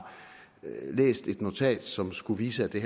læst et notat som skulle vise at det